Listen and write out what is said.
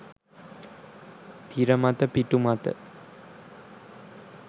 තිර මත පිටු මත